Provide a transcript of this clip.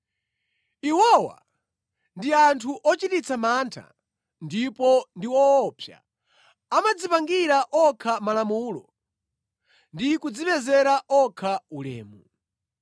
Iwowa ndi anthu ochititsa mantha, ndipo ndi owopsa; amadzipangira okha malamulo ndi kudzipezera okha ulemu.